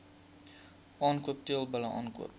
aankoop teelbulle aankoop